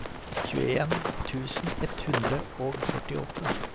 tjueen tusen ett hundre og førtiåtte